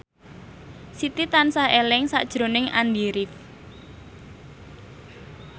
Siti tansah eling sakjroning Andy rif